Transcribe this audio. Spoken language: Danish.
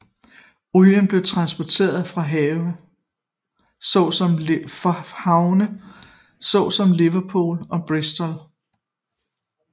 Olien blev transporteret fra havne såsom Liverpool og Bristol